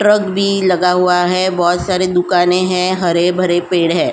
Truck भी लगा हुआ है। बोहोत बहुत सारी दुकाने हैं। हरे भरे पेड़ हैं।